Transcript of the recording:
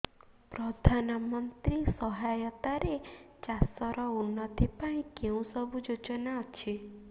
ପ୍ରଧାନମନ୍ତ୍ରୀ ସହାୟତା ରେ ଚାଷ ର ଉନ୍ନତି ପାଇଁ କେଉଁ ସବୁ ଯୋଜନା ଅଛି